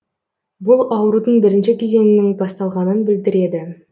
бұл аурудың бірінші кезеңінің басталғанын білдіреді